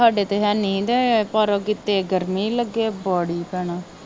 ਸਾਡੇ ਤਾਂ ਹੈਨੀ ਪਰ ਗਰਮੀ ਲੱਗੇ ਭੈਣਾਂ।